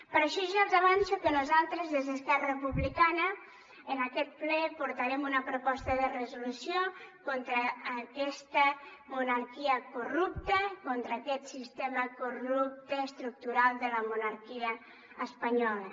per això ja els avanço que nosaltres des d’esquerra republicana en aquest ple portarem una proposta de resolució contra aquesta monarquia corrupta contra aquest sistema corrupte estructural de la monarquia espanyola